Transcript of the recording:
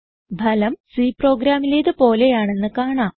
ഫലം C പ്രോഗ്രാമിലേത് പോലെയാണെന്ന് കാണാം